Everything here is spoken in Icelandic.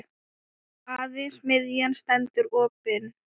Aðeins miðjan stendur opin.